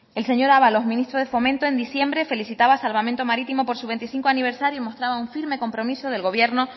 el señor ábalos ministro de fomento en diciembre felicitaba a salvamento marítimo por su veinticinco aniversario y mostraba un firme compromiso del gobierno